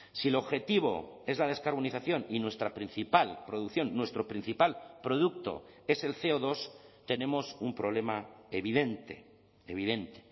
si el objetivo es la descarbonización y nuestra principal producción nuestro principal producto es el ce o dos tenemos un problema evidente evidente